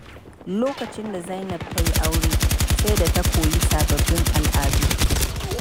Lokacin da Zainab ta yi aure, sai da ta koyi sababbin al’adu.